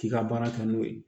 K'i ka baara kɛ n'o ye